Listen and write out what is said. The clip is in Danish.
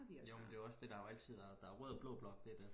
jo men det er jo også det der har jo altid været der er rød og blå blok det er det